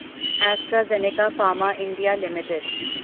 AstraZeneca pharma India Ltd